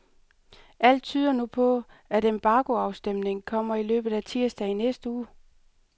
Alt tyder nu på, at embargoafstemningen kommer i løbet af tirsdag i næste uge.